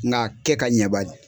Nka kɛ ka ɲɛ bani